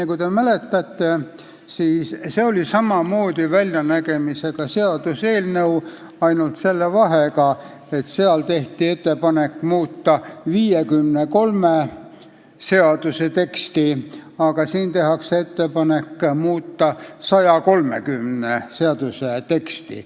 Kui te mäletate, siis see oli samasuguse väljanägemisega seaduseelnõu, ainult selle vahega, et seal tehti ettepanek muuta 53 seaduse teksti, aga siin tehakse ettepanek muuta 130 seaduse teksti.